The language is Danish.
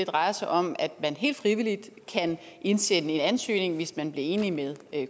drejer sig om at man helt frivilligt kan indsende en ansøgning hvis man bliver enige med